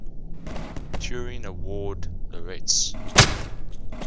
turing award laureates